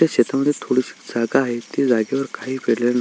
त्या शेतामध्ये थोडीशी जागा आहे त्या जागेवर काही पेरल--